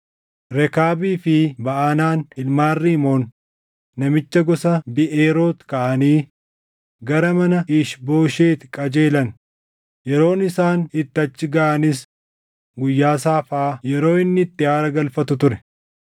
Rekaabii fi Baʼanaan ilmaan Rimoon namicha gosa Biʼeeroot kaʼanii gara mana Iish-Boosheti qajeelan; yeroon isaan itti achi gaʼanis guyyaa saafaa yeroo inni itti aara galfatu ture.